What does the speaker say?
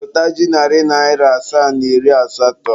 Zụta ji narị naịra asaa na iri asatọ.